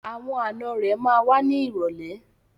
Àwọn ànọ́ rẹ̀ ma wá ní ìrọ̀lẹ́.